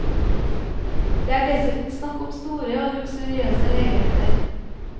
Det er dessuten snakk om store og luksuriøse leiligheter.